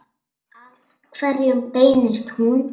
Að hverjum beinist hún?